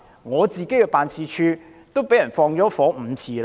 我的辦事處曾被縱火5次。